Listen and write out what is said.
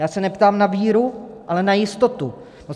Já se neptám na víru, ale na jistotu.